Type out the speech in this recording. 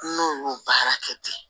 N'o y'o baara kɛ ten